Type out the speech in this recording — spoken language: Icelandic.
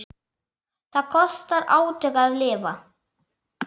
Það kostar átök að lifa.